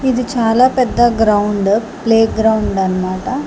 ఇది చాలా పెద్ద గ్రౌండ్ ప్లే గ్రౌండ్ అనమాట.